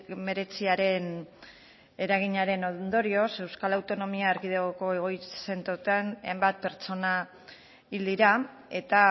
hemeretziaren eraginaren ondorioz euskal autonomia erkidego egoitza zentroetan hainbat pertsona hil dira eta